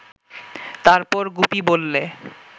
তারপর গুপি বললে